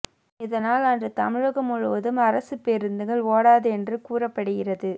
இதனால் அன்று தமிழகம் முழுவதும் அரசுப் பேருந்துகள் ஓடாது என்று கூறப்படுகிறது